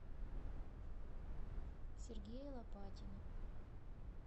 сергея лопатина